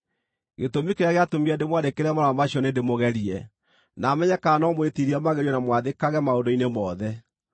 Gĩtũmi kĩrĩa gĩatũmire ndĩmwandĩkĩre marũa macio nĩndĩmũgerie, na menye kana no mwĩtiirie magerio na mwathĩkage maũndũ-inĩ mothe.